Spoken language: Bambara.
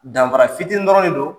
Danfara fitinin dɔrɔn de do.